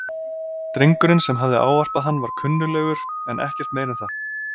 Drengurinn sem hafði ávarpað hann var kunnuglegur en ekkert meira en það.